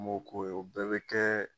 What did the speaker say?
Ani b'o k'o ye, o bɛɛ bɛ kɛ